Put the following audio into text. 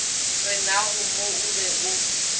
renago mo o be o